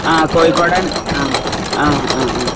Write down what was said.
ആഹ് കോഴിക്കോടൻ അഹ് അഹ്